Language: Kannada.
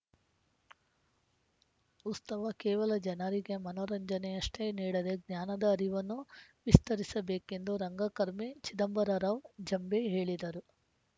ಉಸ್ತವ ಕೇವಲ ಜನರಿಗೆ ಮನೋರಂಜನೆನ್ನಷ್ಟೇ ನೀಡದೆ ಜ್ಞಾನದ ಅರಿವನ್ನು ವಿಸ್ತರಿಸಬೇಕೆಂದು ರಂಗಕರ್ಮಿ ಚಿದಂಬರರಾವ್‌ ಜಂಬೆ ಹೇಳಿದರು